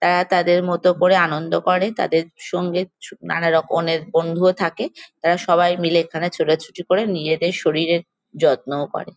আহ তাদের মত করে আনন্দ করে। তাদের সঙ্গে ছু নানান রকমের বন্ধুও থাকে। তারা সবাই মিলে এখানে ছোটাছুটি করে নিজেদের শরীরের যত্নও করে।